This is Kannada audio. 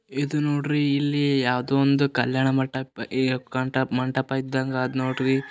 ಇದು ನೋಡ್ರಿ ಇಲ್ಲಿ ಯಾವ್ದೋ ಒಂದು ಕಲ್ಯಾಣ ಮಟಪ್ ಈ ಕಂಠಪ್ಮಂಟಪ ಇದ್ದಂಗ ಅದ್ ನೋಡ್ರಿ.